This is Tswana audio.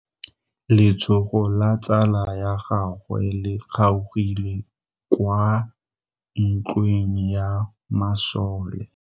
Letsogo la tsala ya gagwe le kgaogile kwa ntweng ya masole.